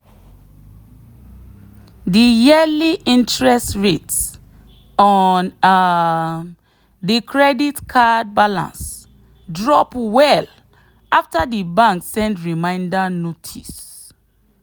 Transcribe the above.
the yearly interest rate on um the credit card balance drop well after the bank send reminder notice.